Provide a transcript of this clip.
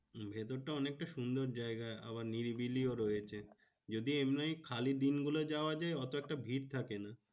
ভেতরটা অনেকটা সুন্দর জায়গা, আবার নিরিবিলিও রয়েছে। যদি এমনি খালি দিনগুলো যাওয়া যায় অতটা ভিড় থাকে না।